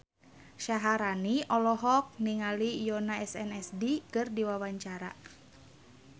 Syaharani olohok ningali Yoona SNSD keur diwawancara